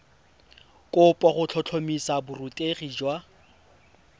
kopo go tlhotlhomisa borutegi jwa